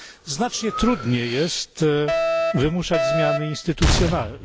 Znacznie trudniej jest wymuszać zmiany instytucjonalne.